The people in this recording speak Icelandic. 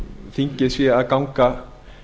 þingið sé að ganga